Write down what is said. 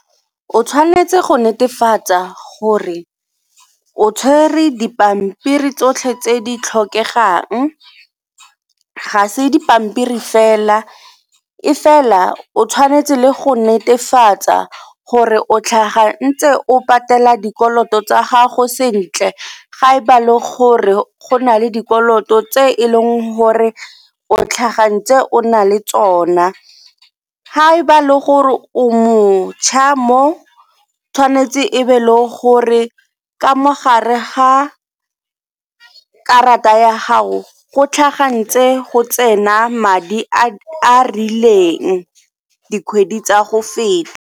O tshwanetse go netefatsa gore o tshwere dipampiri tsotlhe tse di tlhokegang, ga se dipampiri fela e fela o tshwanetse le go netefatsa gore o tlhagang ntse o patela dikoloto tsa gago sentle ga e ba le gore go na le dikoloto tse e leng gore o tlhaga ntse o na le tsona. Ga e ba le gore o mo ntšha mo tshwanetse e be le gore ka mo gare ga karata ya gago go tlhaga ntse go tsena madi a a rileng dikgwedi tsa go feta.